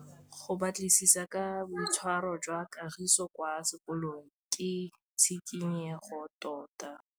Go batlisisa ka boitshwaro jwa Kagiso kwa sekolong ke tshikinyêgô tota.